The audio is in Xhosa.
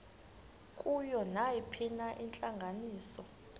kuyo nayiphina intlanganiso